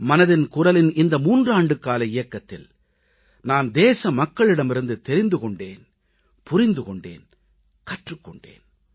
மனதின் குரலின் இந்த மூன்றாண்டுகால இயக்கத்தில் நான் தேச மக்களிடமிருந்து தெரிந்து கொண்டேன் புரிந்து கொண்டேன் கற்றுக் கொண்டேன்